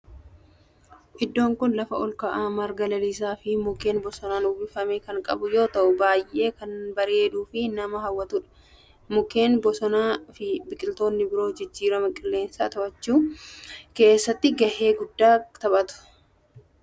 Iddoon kun lafa olka'aa marga lalisaa fi mukkeen bosonaan uwwifame kan qabu yoo ta'u baayyee kan bareeduu fi nama hawwatudha. mukkeen bosonaa fi biqiltoonni biroo jijjiirama qilleensaa to'achuu keessatti gahee qabu.